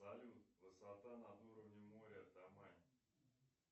салют высота над уровнем моря тамань